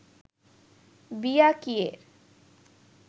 বিয়া কিয়ের